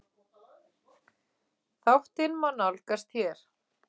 Þáttinn má nálgast hér